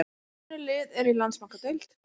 Önnur lið eru úr Landsbankadeild.